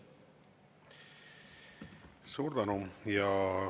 Suur tänu!